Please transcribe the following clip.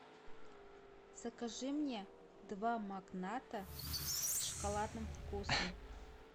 закажи мне два магната с шоколадным вкусом